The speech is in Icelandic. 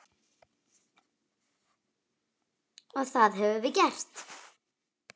Og það höfum við gert.